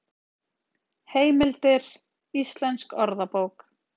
Heimildir: Íslensk orðabók.